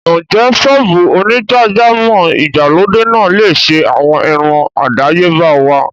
Ǹjẹ́ ṣọ́ọ́bù onígbàjámọ̀ ìgbàlódé náà lè ṣe àwọn irun àdáyébá wá?